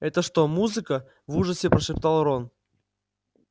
это что музыка в ужасе прошептал рон